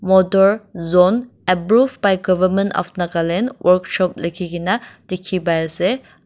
motor zone approved by government of nagaland workshop likhi kena dikhi pai ase.